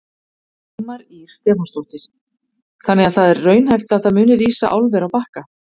Dagmar Ýr Stefánsdóttir: Þannig að það er raunhæft að það muni rísa álver á Bakka?